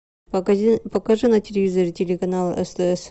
покажи на телевизоре телеканал стс